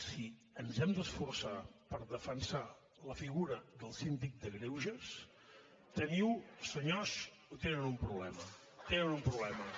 si ens hem d’esforçar per defensar la figura del síndic de greuges tenen senyors un problema tenen un problema